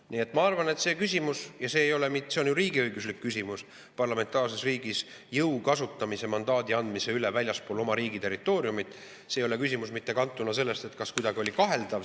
Nii et ma arvan, et see küsimus – ja see on ju riigiõiguslik küsimus, parlamentaarses riigis antakse mandaat kasutada jõudu väljaspool oma riigi territooriumi – ei ole kantud, kas see kuidagi oli kaheldav.